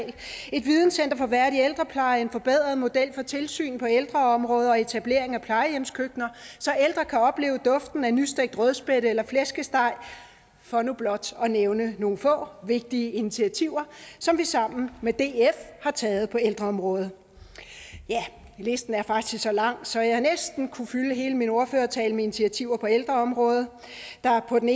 et videncenter for værdig ældrepleje en forbedret model for tilsyn på ældreområdet og etablering af plejehjemskøkkener så ældre kan opleve duften af nystegt rødspætte eller flæskesteg for nu blot at nævne nogle få vigtige initiativer som vi sammen med df har taget på ældreområdet listen er faktisk så lang så jeg næsten kunne fylde hele min ordførertale med initiativer på ældreområdet der på den